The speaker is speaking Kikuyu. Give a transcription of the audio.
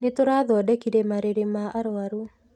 Nĩ tũrathodekire marĩrĩ ma arũaru.